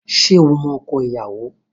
Ṣé o mọ ọkọ ìyàwó?